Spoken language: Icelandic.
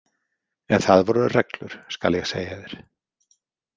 En það voru reglur, skal ég segja þér.